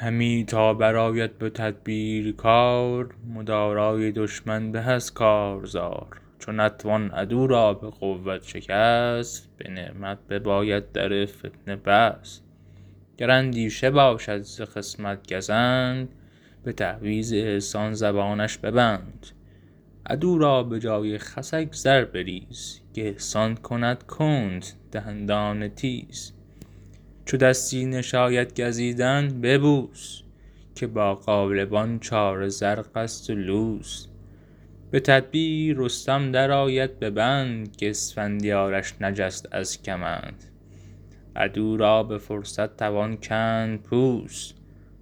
همی تا برآید به تدبیر کار مدارای دشمن به از کارزار چو نتوان عدو را به قوت شکست به نعمت بباید در فتنه بست گر اندیشه باشد ز خصمت گزند به تعویذ احسان زبانش ببند عدو را به جای خسک زر بریز که احسان کند کند دندان تیز چو دستی نشاید گزیدن ببوس که با غالبان چاره زرق است و لوس به تدبیر رستم در آید به بند که اسفندیارش نجست از کمند عدو را به فرصت توان کند پوست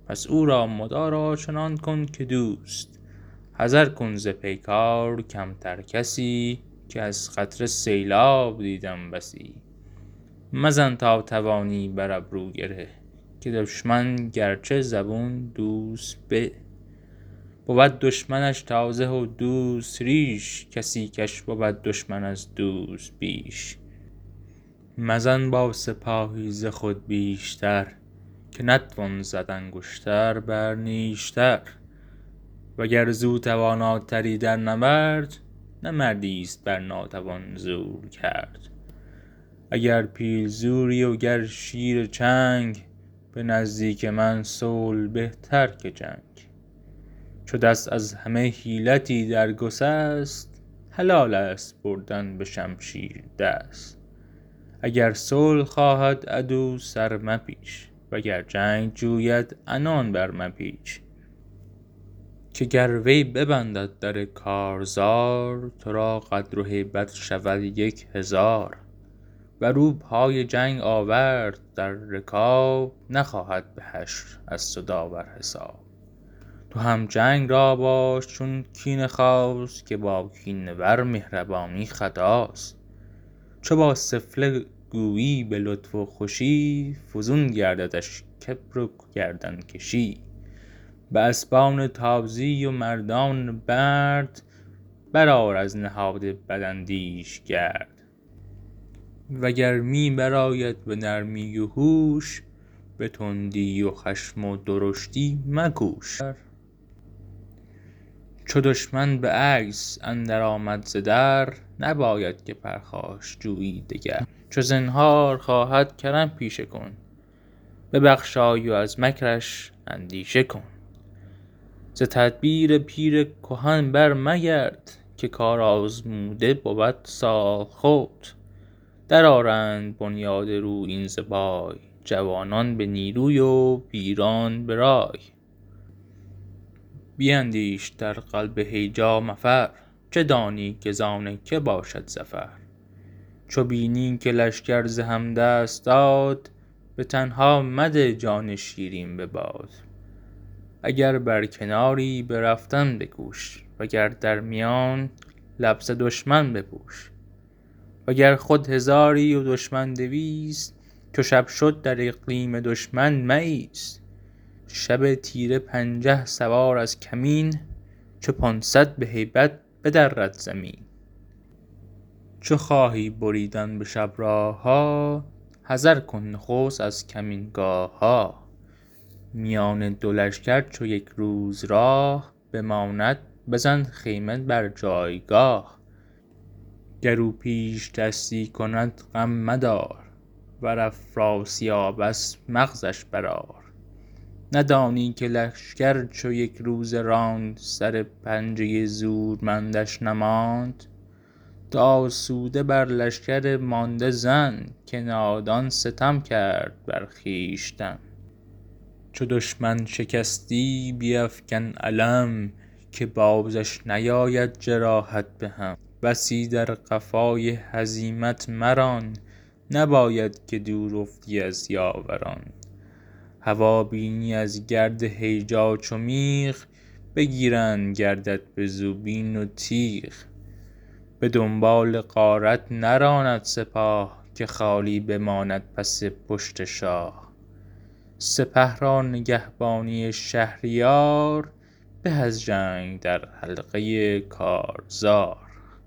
پس او را مدارا چنان کن که دوست حذر کن ز پیکار کمتر کسی که از قطره سیلاب دیدم بسی مزن تا توانی بر ابرو گره که دشمن اگرچه زبون دوست به بود دشمنش تازه و دوست ریش کسی کش بود دشمن از دوست بیش مزن با سپاهی ز خود بیشتر که نتوان زد انگشت بر نیشتر وگر زو تواناتری در نبرد نه مردی است بر ناتوان زور کرد اگر پیل زوری وگر شیر چنگ به نزدیک من صلح بهتر که جنگ چو دست از همه حیلتی در گسست حلال است بردن به شمشیر دست اگر صلح خواهد عدو سر مپیچ وگر جنگ جوید عنان بر مپیچ که گر وی ببندد در کارزار تو را قدر و هیبت شود یک هزار ور او پای جنگ آورد در رکاب نخواهد به حشر از تو داور حساب تو هم جنگ را باش چون کینه خواست که با کینه ور مهربانی خطاست چو با سفله گویی به لطف و خوشی فزون گرددش کبر و گردن کشی به اسبان تازی و مردان مرد بر آر از نهاد بداندیش گرد و گر می بر آید به نرمی و هوش به تندی و خشم و درشتی مکوش چو دشمن به عجز اندر آمد ز در نباید که پرخاش جویی دگر چو زنهار خواهد کرم پیشه کن ببخشای و از مکرش اندیشه کن ز تدبیر پیر کهن بر مگرد که کارآزموده بود سالخورد در آرند بنیاد رویین ز پای جوانان به نیروی و پیران به رای بیندیش در قلب هیجا مفر چه دانی که زان که باشد ظفر چو بینی که لشکر ز هم دست داد به تنها مده جان شیرین به باد اگر بر کناری به رفتن بکوش وگر در میان لبس دشمن بپوش وگر خود هزاری و دشمن دویست چو شب شد در اقلیم دشمن مایست شب تیره پنجه سوار از کمین چو پانصد به هیبت بدرد زمین چو خواهی بریدن به شب راه ها حذر کن نخست از کمینگاه ها میان دو لشکر چو یک روز راه بماند بزن خیمه بر جایگاه گر او پیشدستی کند غم مدار ور افراسیاب است مغزش بر آر ندانی که لشکر چو یک روزه راند سر پنجه زورمندش نماند تو آسوده بر لشکر مانده زن که نادان ستم کرد بر خویشتن چو دشمن شکستی بیفکن علم که بازش نیاید جراحت به هم بسی در قفای هزیمت مران نباید که دور افتی از یاوران هوا بینی از گرد هیجا چو میغ بگیرند گردت به زوبین و تیغ به دنبال غارت نراند سپاه که خالی بماند پس پشت شاه سپه را نگهبانی شهریار به از جنگ در حلقه کارزار